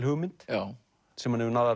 hugmynd sem hann hefur náð